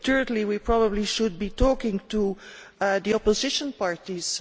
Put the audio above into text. Thirdly, we probably should be talking to the opposition parties.